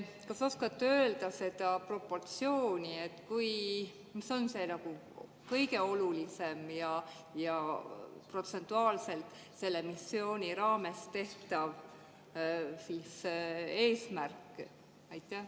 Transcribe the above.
Kas oskate öelda proportsiooni, mis on kõige olulisem ja protsentuaalselt selle missiooni raames eesmärk?